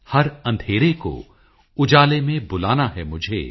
ਹਰ ਅੰਧੇਰੇ ਕੋ ਉਜਾਲੇ ਮੇਂ ਬੁਲਾਨਾ ਹੈ ਮੁਝੇ